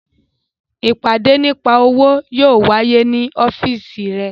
Ìpàdé nípa òwò yóò wáyé ní ọ́fíìsì rẹ